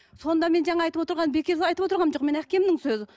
сонда мен жаңа айтып отырғаным бекер айтып отырғаным жоқ мен әкемнің сөзі